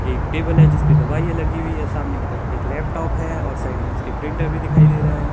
एक टेबल है जिसपे दवाइयां लगी हुई है सामने की तरफ एक लैपटॉप है और साइड में उसके प्रिंटर भी दिखाई दे रहा है।